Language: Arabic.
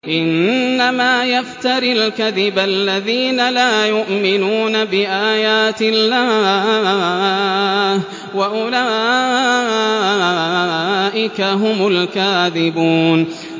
إِنَّمَا يَفْتَرِي الْكَذِبَ الَّذِينَ لَا يُؤْمِنُونَ بِآيَاتِ اللَّهِ ۖ وَأُولَٰئِكَ هُمُ الْكَاذِبُونَ